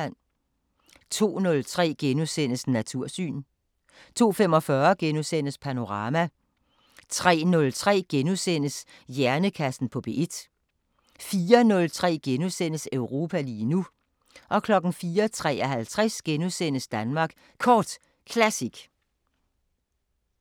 02:03: Natursyn * 02:45: Panorama * 03:03: Hjernekassen på P1 * 04:03: Europa lige nu * 04:53: Danmark Kort Classic